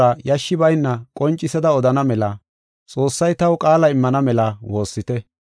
Taani Wongela xuuraa yashshi bayna qoncisada odana mela Xoossay taw qaala immana mela woossite.